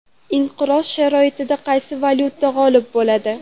Inqiroz sharoitida qaysi valyuta g‘olib bo‘ladi?